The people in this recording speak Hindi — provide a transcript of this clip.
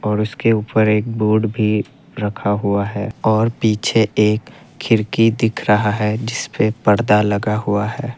और उसके ऊपर एक बोर्ड भी रखा हुआ है और पीछे एक खिड़की दिख रहा है जिसपे पर्दा लगा हुआ है।